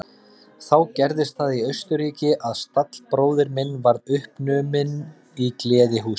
Þá gerðist það í Austurríki að stallbróðir minn varð uppnuminn í gleðihúsi.